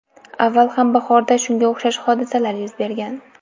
Avval ham bahorda shunga o‘xshash hodisalar yuz bergan.